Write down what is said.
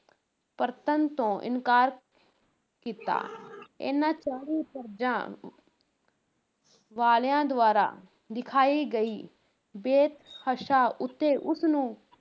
ਪਰਤਣ ਤੋਂ ਇਨਕਾਰ ਕੀਤਾ ਇਨ੍ਹਾਂ ਚਾਲੀ ਪਰਜਾਂ ਵਾਲਿਆਂ ਦੁਆਰਾ ਦਿਖਾਈ ਗਈ ਬੇਤਹਾਸ਼ਾ ਉੱਤੇ ਉਸ ਨੂੰ